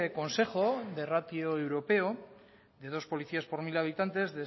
consejo de ratio europeo de dos policías por mil habitantes